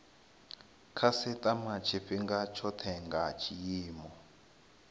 khasitama tshifhinga tshothe nga tshiimo